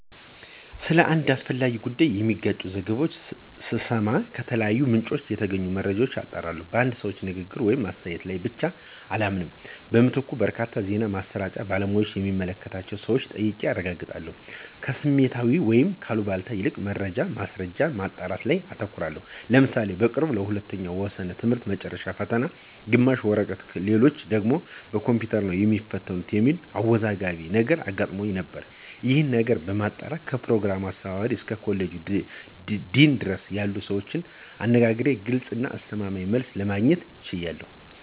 ስለ አንድ አስፈላጊ ጉዳይ የሚጋጭ ዘገባዎችን ስሰማ ከተለያዩ ምንጮች የተገኙ መረጃዎችን አጣራለሁ። በአንድ ሰው ንግግር ወይም አስተያየት ላይ ብቻ አልተማመንም። በምትኩ በርካታ የዜና ማሰራጫዎችን፣ የባለሙያዎችን የሚመለከታቸውን ሰወች ጠይቄ አረጋግጣለሁ። ከስሜታዊነት ወይም ከአሉባልታ ይልቅ መረጃዎችን እና ማስረጃዎችን ማጣራት ላይ አተኩራለሁ። ለምሳሌ በቅርቡ ለሁለተኛው ወሰነ ትምህርት መጨረሻ ፈተና ግማሹ በወረቀት ሌሎች ደግሞ በኮምፒውተር ነው የሚትፈተኑት የሚል አወዛጋቢ ነገር አጋጥሞን ነበር። ይሄንን ነገር ለማጣራት ከፕሮግራሙ አስተባባሪ እስከ ኮሌጅ ዲን ድረስ ያሉትን ሰዎች አነጋግሬ ግልጽ እና አስተማማኝ መልስ ለማግኘት ችያለሁ።